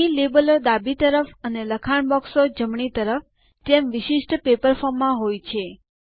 અહીં લેબલો ડાબી તરફ અને લખાણ બોક્સ જમણી તરફ જેમ વિશિષ્ટ પેપર ફોર્મ માં હોય છે